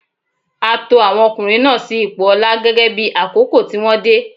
A to àwọn ọkùnrin náà sí ipò ọlá gẹ́gẹ́ bí àkókò tí wọ́n dé.